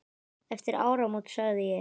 Eftir áramót sagði ég.